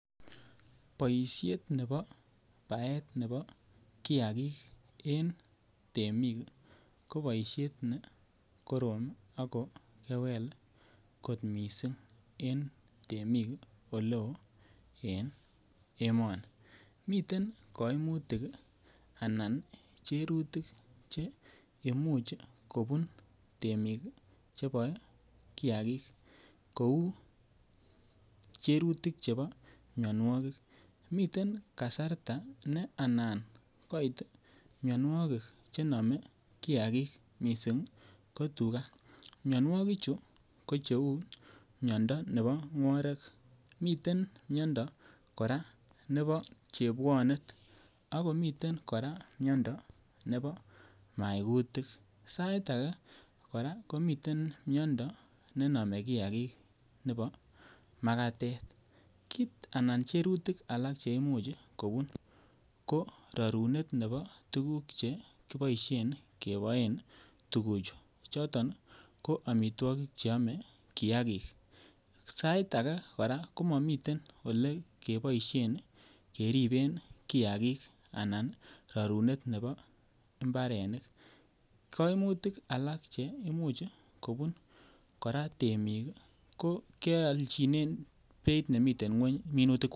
Boishet nebo baet nebo kiagik en temik ko boishen be korom ako kewel kot missing en temik ole oo en emoni. Miten koimut anan cherutik che imuch kobun temik chebole kiagik kouu cherutik chebo mionwokik miten kasarta ne anan koit ii mionwokik che nome kiagik missing ko tuga, mionwokik chu ko che uu miondo nebo mworek. Miten miondo koraa nebo chebwonet ak komii koraa miondo nebo maigutik, sait agee koraa komiten miondo nenome kiagik nenome makatet. Kit anan cherutik che imuch kobun ko rorunet nebo tugug che kiboishen keboen tuguchu choton ko omitwokik che ome kiagik. Sait agee koraa ko momiten ole keboishen keriben kiagik anan rorunet nebo imbarenik koimutik alak che imuch kobun koraa temik ko keoljinen beit nemiten kweny minutikwak